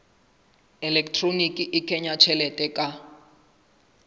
elektroniki le kenya tjhelete ka